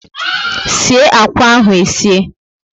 sie akwa ahụ e sie!